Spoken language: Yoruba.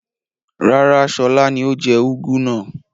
Rárá, Ṣọlá ni ó jẹ úgú náà.